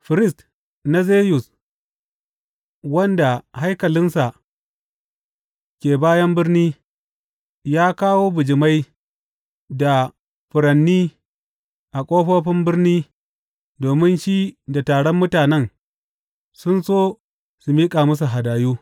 Firist na Zeyus, wanda haikalinsa ke bayan birni, ya kawo bijimai da furanni a ƙofofin birni domin shi da taron mutanen sun so su miƙa musu hadayu.